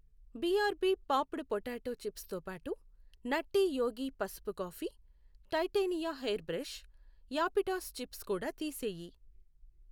BRB popped potato chips తోబాటు Nutty Yogi పసుపు coffee, Titania hair brush, యాపిటాస్ చిప్స్ కూడా తీసేయి.